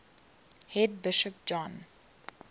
head bishop john